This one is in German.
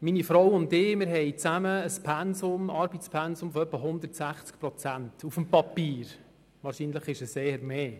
Meine Frau und ich haben auf dem Papier zusammen ein Arbeitspensum von rund 160 Prozent, wahrscheinlich ist es eher mehr.